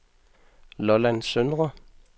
Lolland Søndre